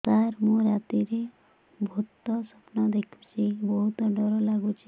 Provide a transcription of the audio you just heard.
ସାର ମୁ ରାତିରେ ଭୁତ ସ୍ୱପ୍ନ ଦେଖୁଚି ବହୁତ ଡର ଲାଗୁଚି